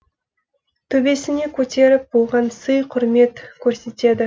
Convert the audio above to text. төбесіне көтеріп оған сый құрмет көрсетеді